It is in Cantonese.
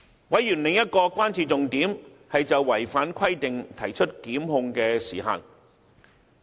委員的另一個關注重點，是就違反規定提出檢控的時限。